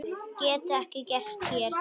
Getur ekki gerst hér.